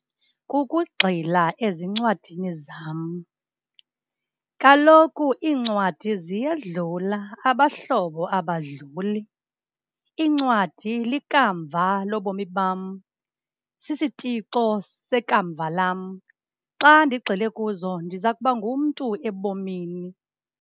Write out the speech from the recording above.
Kukugxila ezincwadini zam. Kaloku iincwadi ziyedlula, abahlobo abadluli. Iincwadi likamva lobomi bam, sisitixo sekamva lam. Xa ndigxile kuzo ndiza kuba ngumntu ebomini.